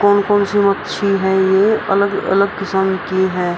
कौन-कौन सी मच्छी है ये अलग-अलग किस्म की हैं।